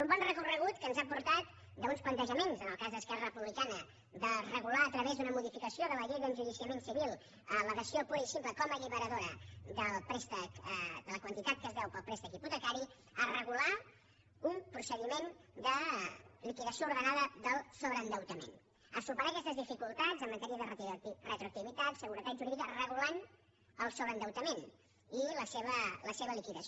un bon recorregut que ens ha portat d’uns plantejaments en el cas d’esquerra republicana de regular a través d’una modificació de la llei d’enjudiciament civil la dació pura i simple com a alliberadora de la quantitat que es deu pel préstec hipotecari a regular un procediment de liquidació ordenada del sobreendeutament a superar aquestes dificultats en matèria de retroactivitat seguretat jurídica regulant el sobreendeutament i la seva liquidació